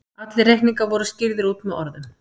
Allir reikningar voru skýrðir út með orðum.